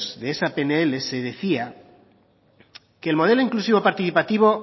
de esa pnl se decía que el modelo inclusivo participativo